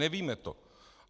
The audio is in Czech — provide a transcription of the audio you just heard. Nevíme to.